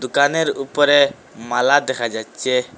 কানের উপরে মালা দেখা যাচ্চে ।